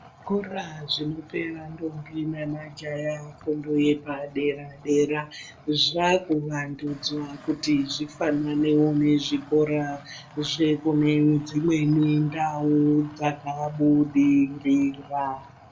Zvikora zvinope ma ndombi ne majaha fundo yepa dera dera zvaku wandudzwa kuti zvifananewo ne zvikora zvekune dzimweni ndau dzaka budirira.